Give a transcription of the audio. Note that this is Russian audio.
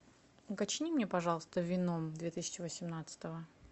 уточни мне пожалуйста веном две тысячи восемнадцатого